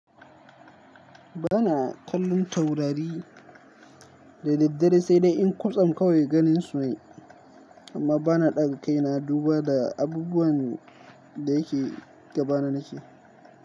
Bana kallon taurari da daddare, sai dai in kwatsam kawai ganin su ne, amma bana ɗaga kai na duba da abubuwan da yake gaba na nake.